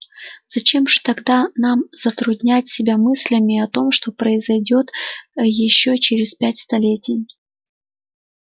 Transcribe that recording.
зачем же тогда нам затруднять себя мыслями о том что произойдёт ещё через пять столетий